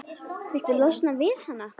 Viltu losna við hana?